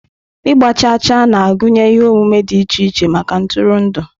Ịgba chaa chaa na-agụnye ihe omume dị iche iche maka ntụrụndụ.